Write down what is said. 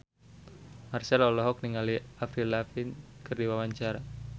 Marchell olohok ningali Avril Lavigne keur diwawancara